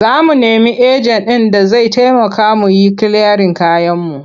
Za mu nemi ejen ɗin da zai taimaka mu yi kiliyarin kayanmu.